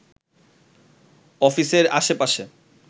অফিসের আশেপাশে